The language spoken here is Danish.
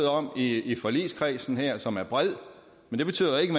om i i forligskredsen her som er bred men det betyder ikke